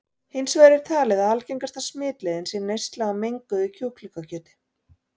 Hins vegar er talið að algengasta smitleiðin sé neysla á menguðu kjúklingakjöti.